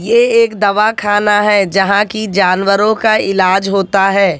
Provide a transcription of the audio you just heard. ये एक दवा खाना है जहां की जानवरों का इलाज होता है।